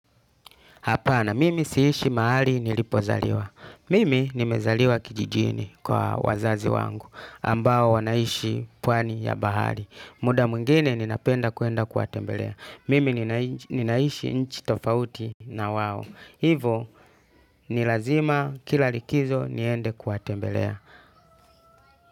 Hapana, mimi siishi mahali nilipozaliwa. Mimi nimezaliwa kijijini kwa wazazi wangu, ambao wanaishi pwani ya bahari. Muda mwingine ninapenda kuenda kuwatembelea. Mimi ninaishi nchi tofauti na wao. Hivo, ni lazima kila likizo niende kuwatembelea.